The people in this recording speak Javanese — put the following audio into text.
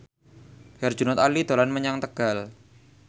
Herjunot Ali dolan menyang Tegal